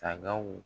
Sagaw